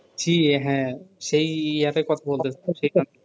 জ্বি হ্যাঁ সেই ইয়া টার কথা বলতেছি সেখানে